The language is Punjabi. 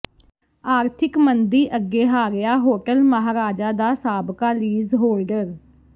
ਆਰਥਿਕ ਮੰਦੀ ਅੱਗੇ ਹਾਰਿਆ ਹੋਟਲ ਮਹਾਰਾਜਾ ਦਾ ਸਾਬਕਾ ਲੀਜ਼ ਹੋਲਡਰ